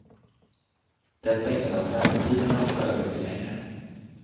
Detta innebär att väntetiderna för övriga blir längre.